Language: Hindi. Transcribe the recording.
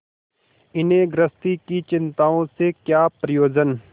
इन्हें गृहस्थी की चिंताओं से क्या प्रयोजन